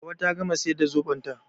Hauwa ta gama siyar da zoɓon ta